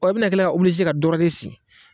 Ɔ o be na kila ka obilize ka dɔwɛrɛ de sen